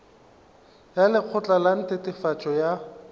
ya lekgotla la netefatšo ya